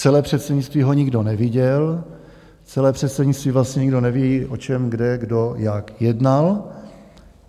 Celé předsednictví ho nikdo neviděl, celé předsednictví vlastně nikdo neví, o čem kde kdo jak jednal.